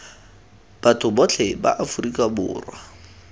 batho botlhe ba afrika borwa